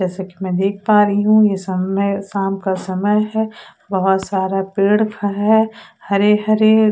जैसा कि मैं देख पा रही हूं यह समय शाम का समय है बहुत सारा पेड़ है हरे हरे--